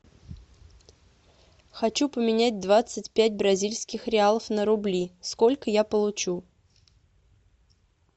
хочу поменять двадцать пять бразильских реалов на рубли сколько я получу